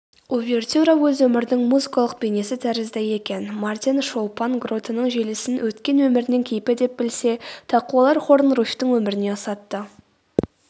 увертюра өз өмірінің музыкалық бейнесі тәрізді екен мартин шолпан гротының желісін өткен өмірінің кейпі деп білсе тақуалар хорын руфьтің өміріне ұсатты